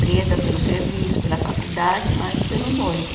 Presa pelo serviço, pela faculdade, mais pelo noivo.